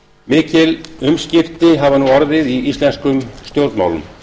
mikil umskipti hafa nú orðið í íslenskum stjórnmálum